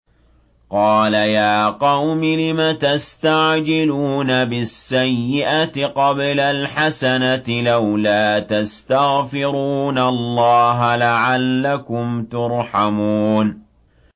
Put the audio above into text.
قَالَ يَا قَوْمِ لِمَ تَسْتَعْجِلُونَ بِالسَّيِّئَةِ قَبْلَ الْحَسَنَةِ ۖ لَوْلَا تَسْتَغْفِرُونَ اللَّهَ لَعَلَّكُمْ تُرْحَمُونَ